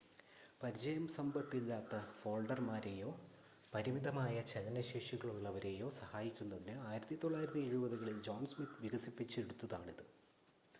പരിചയസമ്പത്തില്ലാത്ത ഫോൾഡർമാരെയോ പരിമിതമായ ചലന ശേഷികളുള്ളവരെയോ സഹായിക്കുന്നതിന് 1970-കളിൽ ജോൺ സ്മിത്ത് വികസിപ്പിച്ചെടുതാണിത്